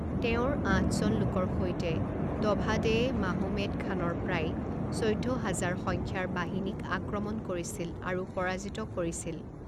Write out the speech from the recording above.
তেওঁৰ আঠজন লোকৰ সৈতে, দভাদেয়ে মাহোমেদ খানৰ প্ৰায় চৈধ্য হাজাৰ সংখ্যাৰ বাহিনীক আক্ৰমণ কৰিছিল আৰু পৰাজিত কৰিছিল।